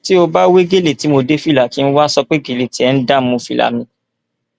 tí ó bá wẹ gẹlẹ tí mo dé fìlà kí n wáá sọ pé gẹlẹ tiẹ ń dààmú fìlà mi